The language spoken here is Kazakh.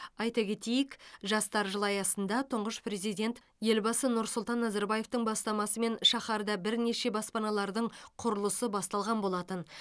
айта кетейік жастар жылы аясында тұңғыш президент елбасы нұр сұлтан назарбаевтың бастамасымен шаһарда бірнеше баспаналардың құрылысы басталған болатын